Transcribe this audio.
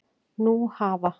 Nú hafa